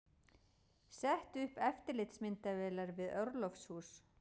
Setti upp eftirlitsmyndavélar við orlofshús